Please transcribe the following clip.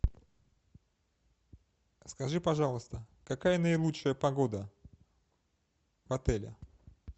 скажи пожалуйста какая наилучшая погода в отеле